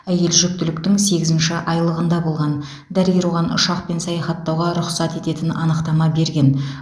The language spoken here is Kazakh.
әйел жүктіліктің сегізінші айлығында болған дәрігер оған ұшақпен саяхаттауға рұқсат ететін анықтама берген